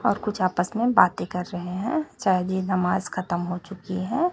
और कुछ आपस में बातें कर रहे हैं शायद ये नमाज खत्म हो चुकी है।